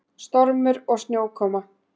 Stormur og snjókoma.